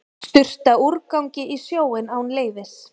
Sturta úrgangi í sjóinn án leyfis